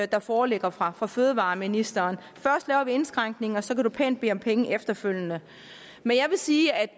der foreligger fra fra fødevareministeren først laver vi indskrænkningen og så kan man pænt bede om penge efterfølgende men jeg vil sige at